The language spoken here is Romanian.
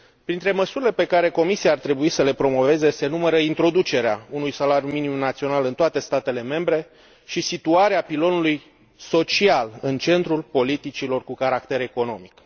Printre măsurile pe care Comisia ar trebui să le promoveze se numără introducerea unui salariu minim național în toate statele membre și situarea pilonului social în centrul politicilor cu caracter economic.